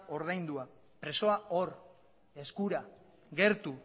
ordaindua presoa hor eskura gertu